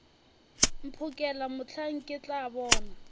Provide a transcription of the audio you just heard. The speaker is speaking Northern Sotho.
mphokela mohla ke tla bona